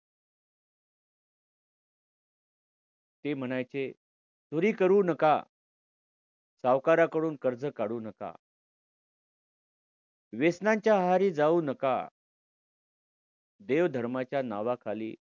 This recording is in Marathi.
ते म्हणायचे चोरी करू नका. सावकाराकडून कर्ज काढू नका. व्यसनांच्या आहारी जाऊ नका. देवधर्माच्या नावाखाली